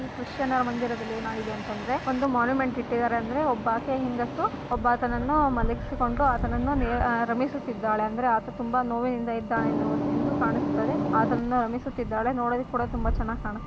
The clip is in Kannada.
ಈ ಕೃಷ್ಣ ಮಂದಿರದಲ್ಲಿ ಏನಾಗಿದೆ ಅಂತ ಅಂದ್ರೆ ಮಾನ್ಯುಮೆಂಟ್ ಇಟ್ಟಿದ್ದಾರೆ ಒಬ್ಬ ಹೆಂಗಸು ಒಬ್ಬ ಆತನನ್ನು ಮಲಗಿಸಿಕೊಂಡು ಆತನ ನನ್ನು ರಮೇಶ್ ಸುತ್ತಿದ್ದಾಳೆ ಆತ ತುಂಬಾ ನೋವಿನಿಂದ ಇದ್ದಾನೆ ಅಂತ ಕಾಣಿಸ್ತಾ ಇದೆ ರಮಿಸುತ್ತಿದ್ದಾಳೆ ನೋಡಕ್ಕೆ ತುಂಬಾ ಚೆನ್ನಾಗಿ ಕಾಣ್ತಾ --